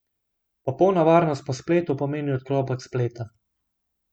Popolna varnost po spletu pomeni odklop od spleta.